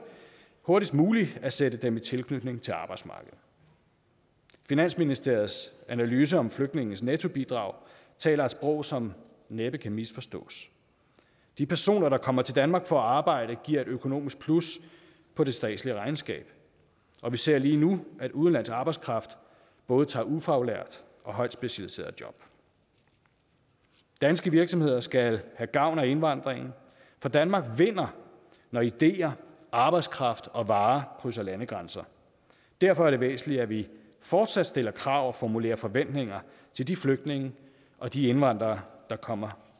hurtigst muligt at sætte dem i tilknytning til arbejdsmarkedet finansministeriets analyser om flygtninges nettobidrag taler et sprog som næppe kan misforstås de personer der kommer til danmark for at arbejde giver et økonomisk plus på det statslige regnskab og vi ser lige nu at udenlandsk arbejdskraft både tager ufaglærte og højt specialiserede job danske virksomheder skal have gavn af indvandringen for danmark vinder når ideer arbejdskraft og varer krydser landegrænser derfor er det væsentligt at vi fortsat stiller krav og formulerer forventninger til de flygtninge og de indvandrere der kommer